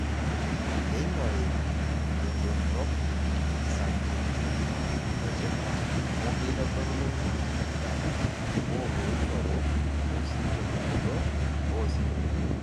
Neing'ori tendorop isabjekti etipat amu keitodolu enkipirta olooishoru osim tentumoto oosimui